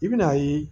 I bi n'a ye